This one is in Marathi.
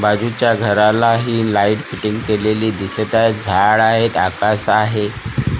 बाजूच्या घराला हि लाईट फिटिंग केलेली दिसत आहे झाड आहेत आकाश आहे .